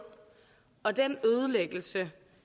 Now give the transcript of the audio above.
og den ødelæggelse